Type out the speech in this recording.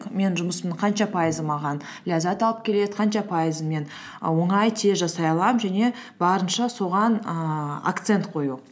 мен жұмысымның қанша пайызы маған ләззат алып келеді қанша пайызы мен і оңай тез жасай аламын және барынша соған ііі акцент қою